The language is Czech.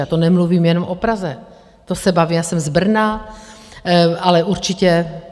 A to nemluvím jenom o Praze, to se bavím, já jsem z Brna, ale určitě...